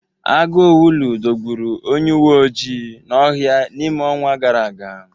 Agụ owulu dọgburu onye uweojii n'ọhịa n'ime ọnwa gara aga.